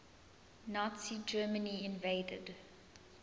nazi germany invaded